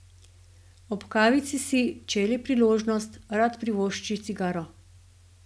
Ob kavici si, če je le priložnost, rad privošči cigaro.